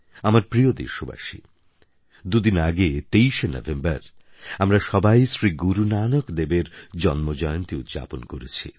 আমার প্রিয় দেশবাসী দুদিন আগে ২৩শে নভেম্বর আমরা সবাই শ্রী গুরুনানক দেবের জন্মজয়ন্তী উদ্যাপন করেছি